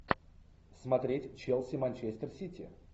смотреть челси манчестер сити